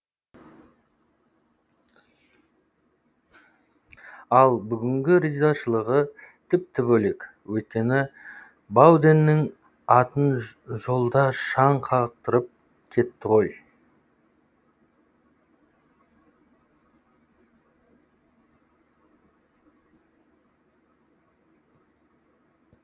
ал бүгінгі ризашылығы тіпті бөлек өйткені бауденнің атын жолда шаң қаптырып кетті ғой